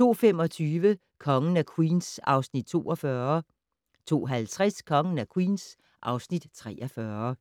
02:25: Kongen af Queens (Afs. 42) 02:50: Kongen af Queens (Afs. 43)